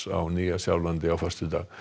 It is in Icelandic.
á Nýja Sjálandi á föstudag